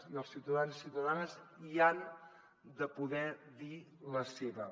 i els ciutadans i ciutadanes hi han de poder dir la seva